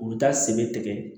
U bɛ taa sen bɛ tigɛ